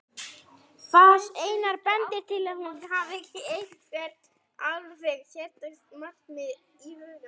Fas hennar bendir til að hún hafi eitthvert alveg sérstakt markmið í huga.